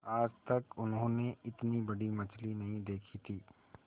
आज तक उन्होंने इतनी बड़ी मछली नहीं देखी थी